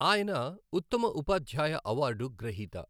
ఆయన ఉత్తమ ఉపాధ్యాయ అవార్డు గ్రహీత.